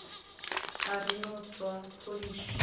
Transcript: a ri no tswa pholishi